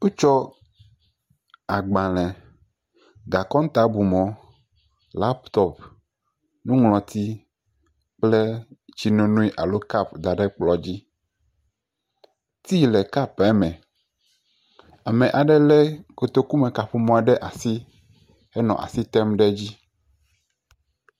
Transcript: Wotsɔ agbalẽ, gakɔŋtabumɔ, lapitɔpi, nuŋlɔti kple tsinono alo kɔpu da ɖe kplɔ̃ dzi. Tea le kɔpua me. Ame aɖe lé kotokumekaƒomɔ ɖe asi henɔ asi tem ɖe edzi.